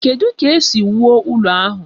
Kedu ka esi wuo ụlọ ahụ?